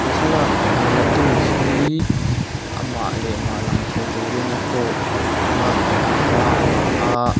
he thlalak la tu hi amah leh mah lang thei turin a phone a keng a thla a la a--